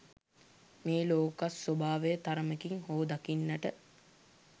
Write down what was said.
මේ ලෝකස්වභාවය තරමකින් හෝ දකින්නට